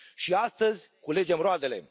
Și astăzi culegem roadele.